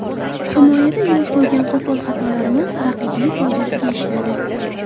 Himoyada yo‘l qo‘ygan qo‘pol xatolarimiz raqibning foydasiga ishladi.